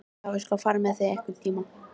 Já, ég skal fara með þig einhvern tíma.